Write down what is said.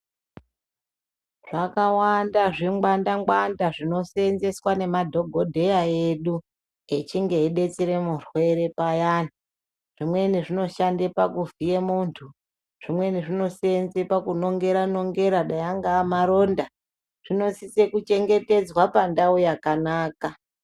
Zvakawanda zvingwanda-ngwanda zvinoseenzeswa nemadhogodheya edu, echinge eidetsere murwere payani. Zvimweni zvinoshande pakuvhiye muntu, zvimweni zvinoseenze pakunongera nongera dai angaa maronda. Zvinosise kuchengetedzwa pandau yakanaka.